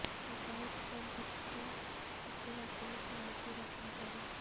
ਡ੍ਰਾਇਪ ਤੋਂ ਬਚੋ ਅਤੇ ਆਪਣੀ ਕਾਰ ਦੀ ਰੱਖਿਆ ਕਰੋ